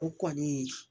O kɔni